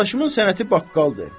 Yoldaşımın sənəti baqqaldır.